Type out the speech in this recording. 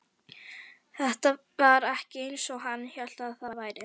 Þetta var ekki eins og hann hélt að það væri.